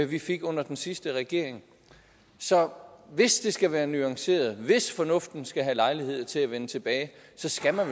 vi fik under den sidste regering så hvis det skal være nuanceret hvis fornuften skal have lejlighed til at vende tilbage så skal man